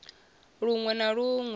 lun we na lun we